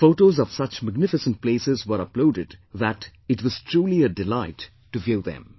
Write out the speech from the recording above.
Photos of such magnificent places were uploaded that it was truly a delight to view them